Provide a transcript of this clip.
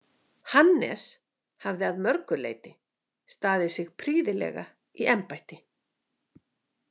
Hannes hafði að mörgu leyti staðið sig prýðilega í embætti.